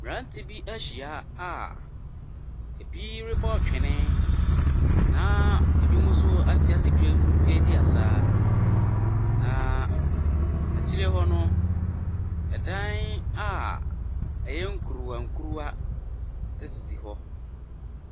Mmirantie be ehyia a ebi rebɔ twene, na ebi so atease dwan edi asa. Na ɛkyire hɔ no, dan a ɛyɛ nkuruwa kuruwa esisi hɔ.